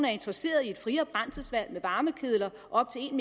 er interesseret i et friere brændselsvalg med varmekedler op til en